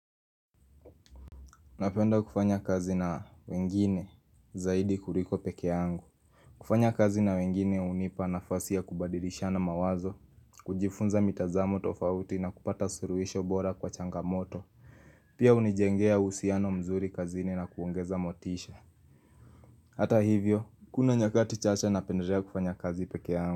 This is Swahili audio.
Napenda kufanya kazi na wengine zaidi kuliko pekee yangu. Kufanya kazi na wengine hunipa nafasi ya kubadilishana mawazo. Kujifunza mitazamo tofauti na kupata suluhisho bora kwa changamoto. Pia hunijengea uhusiano mzuri kazini na kuongeza motisha. Hata hivyo, kuna nyakati chache napendelea kufanya kazi pekee yangu.